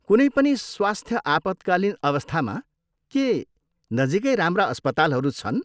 कुनै पनि स्वस्थ्य आपतकालीन अवस्थामा, के नजिकै राम्रा अस्पतालहरू छन्?